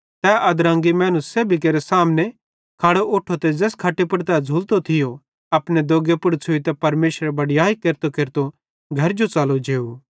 पन तुसन पतो लग्गे मैनेरे मट्ठे ज़मीनी पुड़ पाप माफ़ केरनेरो अधिकारे फिरी यीशुए तैस बिमारे जो ज़ोवं अपनी खट सल्ल ते घरजो च़लो गा